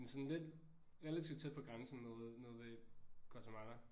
Sådan lidt relativt tæt på grænsen nede nede ved Guatemala